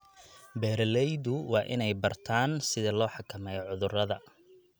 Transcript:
Beeraleydu waa inay bartaan sida loo xakameeyo cudurrada.